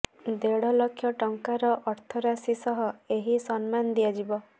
ଦେଢ଼ ଲକ୍ଷ ଟଙ୍କାର ଅର୍ଥରାଶି ସହ ଏହି ସମ୍ମାନ ଦିଆଯିବ